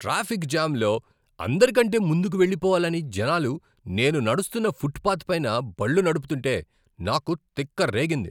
Traffic jam లో అందరికంటే ముందుకు వెళ్లిపోవాలని జనాలు నేను నడుస్తున్న ఫుట్పాత్పైన బళ్ళు నడుపుతుంటే, నాకు తిక్కరేగింది.